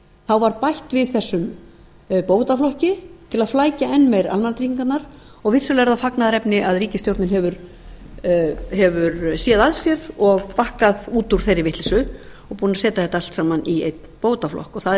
þá var bætt við þessum bótaflokki til þess að flækja enn meir almannatryggingarnar og vissulega er það fagnaðarefni að ríkisstjórnin hefur séð að sér og bakkað út úr þeirri vitleysu og er búin að setja þetta allt saman í einn bótaflokk og það er